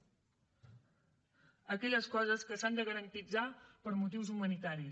a aquelles coses que s’han de garantir per motius humanitaris